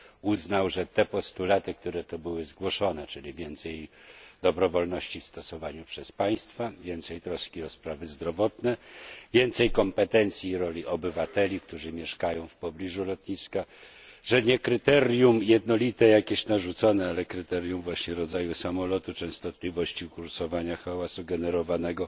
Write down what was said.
uznał, że te postulaty, które tu były zgłoszone, czyli więcej dobrowolności w stosowaniu przez państwa, więcej troski o sprawy zdrowotne, więcej kompetencji i roli obywateli, którzy mieszkają w pobliżu lotniska, że nie jakieś narzucone jednolite kryterium, ale kryterium właśnie rodzaju samolotu, częstotliwości kursowania, hałasu generowanego